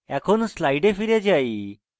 এখন slides ফিরে যাই